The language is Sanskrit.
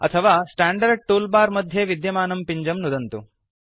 अथवा स्टैंडर्ड टूलबार मध्ये विद्यमानं पिञ्जं नुदन्तु